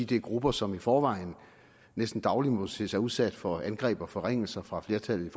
det er grupper som i forvejen næsten dagligt må se sig udsat for angreb og forringelser fra flertallet i